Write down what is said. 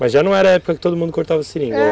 Mas já não era a época que todo mundo cortava seringa, é